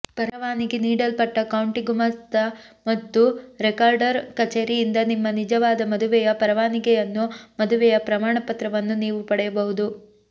ಪರವಾನಗಿ ನೀಡಲ್ಪಟ್ಟ ಕೌಂಟಿ ಗುಮಾಸ್ತ ಮತ್ತು ರೆಕಾರ್ಡರ್ ಕಚೇರಿಯಿಂದ ನಿಮ್ಮ ನಿಜವಾದ ಮದುವೆಯ ಪರವಾನಗಿಯನ್ನು ಮದುವೆಯ ಪ್ರಮಾಣಪತ್ರವನ್ನು ನೀವು ಪಡೆಯಬಹುದು